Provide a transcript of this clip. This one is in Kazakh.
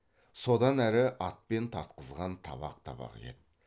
содан әрі атпен тартқызған табақ табақ ет